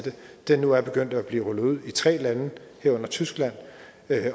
det nu er begyndt at blive rullet ud i tre lande herunder tyskland